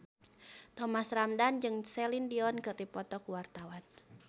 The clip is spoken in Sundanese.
Thomas Ramdhan jeung Celine Dion keur dipoto ku wartawan